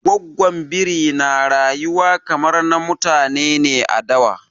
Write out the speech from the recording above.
Gwaggon Biri na rayuwa kamar na mutane ne a dawa.